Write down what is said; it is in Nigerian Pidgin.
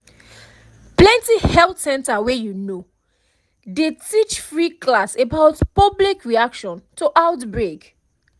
plenty health center wey you know dey teach free class about public reaction to outbreak